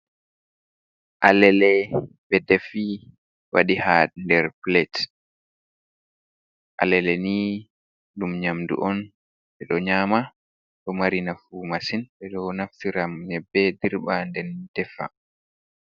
Alele be defi wadi ha nder plate alele ni dum nyamdu on, be do nyama do marinafu masin be do naftira nyebbe dirba den defa.